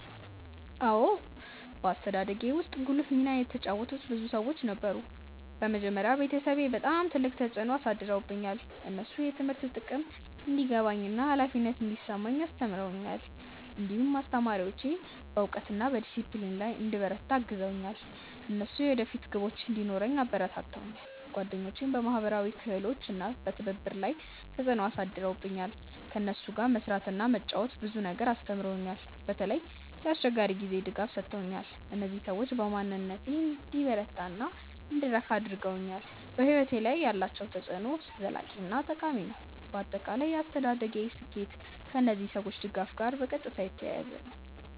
አዎን፣ በአስተዳደጌ ውስጥ ጉልህ ሚና የተጫወቱ ብዙ ሰዎች ነበሩ። በመጀመሪያ ቤተሰቤ በጣም ትልቅ ተፅዕኖ አሳድረውብኛል። እነሱ የትምህርት ጥቅም እንዲገባኝ እና ኃላፊነት እንዲሰማኝ አስተምረውኛል። እንዲሁም አስተማሪዎቼ በእውቀት እና በዲሲፕሊን ላይ እንድበረታ አግዘውኛል። እነሱ የወደፊት ግቦች እንዲኖረኝ አበረታተውኛል። ጓደኞቼም በማህበራዊ ክህሎት እና በትብብር ላይ ተፅዕኖ አሳድረውብኛል። ከእነሱ ጋር መስራት እና መጫወት ብዙ ነገር አስተምሮኛል። በተለይ የአስቸጋሪ ጊዜ ድጋፍ ሰጥተውኛል። እነዚህ ሰዎች በማንነቴን እንዲበረታ እና እንድረካ አድርገውኛል። በሕይወቴ ላይ ያላቸው ተፅዕኖ ዘላቂ እና ጠቃሚ ነው። በአጠቃላይ የአስተዳደጌ ስኬት ከእነዚህ ሰዎች ድጋፍ ጋር በቀጥታ የተያያዘ ነው።